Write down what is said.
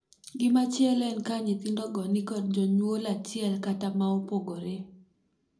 Gimachielo en ka nyithindogo nikod jonyuol achiel kata maopogore.